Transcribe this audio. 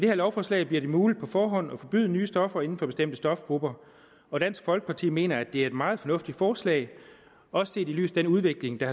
her lovforslag bliver det muligt på forhånd at forbyde nye stoffer inden for bestemte stofgrupper og dansk folkeparti mener at det er et meget fornuftigt forslag også set i lyset af den udvikling der